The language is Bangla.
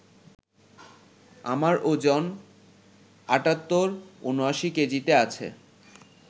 আমার ওজন ৭৮,৭৯ কেজিতে আছে